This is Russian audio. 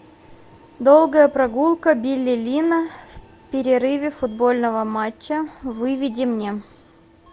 долгая прогулка билли линна в перерыве футбольного матча выведи мне